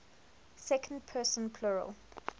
second person plural